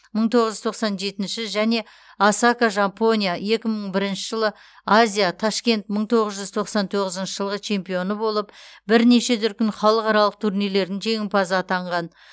мың тоғыз жүз тоқсан жетінші және осака жапония екі мың бірінші жылы азия ташкент мың тоғыз жүз тоқсан тоғызыншы жылғы чемпионы болып бірнеше дүркін халықаралық турнирлердің жеңімпазы атанған